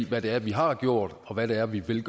hvad det er vi har gjort og hvad det er vi vil